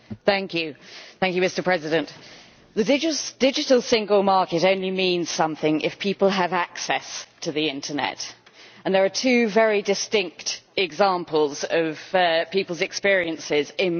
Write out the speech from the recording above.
Mr President, the Digital Single Market only means something if people have access to the internet, and there are two very distinct examples of people's experiences in my constituency.